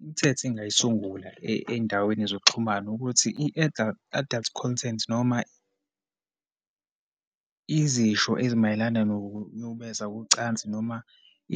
Imithetho engingayisungula eyindaweni zokuxhumana ukuthi i-adult content, noma izisho ezimayelana nokunyukubeza kocansi, noma